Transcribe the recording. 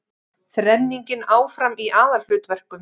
Þrenningin áfram í aðalhlutverkum